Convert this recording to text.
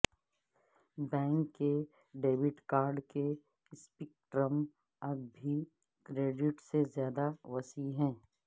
bank کے debit card کے spectrum اب بھی کریڈٹ سے زیادہ وسیع ہے